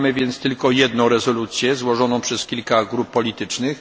Mamy więc tylko jedną rezolucję złożoną przez kilka grup politycznych.